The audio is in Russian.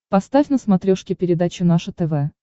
поставь на смотрешке передачу наше тв